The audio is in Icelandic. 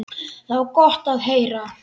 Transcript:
Það var gott að heyra.